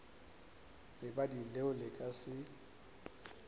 lebadi leo le ka se